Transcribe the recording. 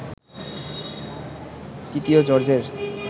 ৩য় জর্জের